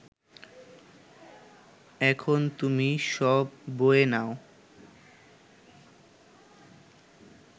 এখন তুমি সব বয়ে নাও